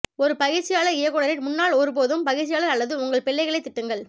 ஒரு பயிற்சியாளர் இயக்குனரின் முன்னால் ஒருபோதும் பயிற்சியாளர் அல்லது உங்கள் பிள்ளைகளைத் திட்டுங்கள்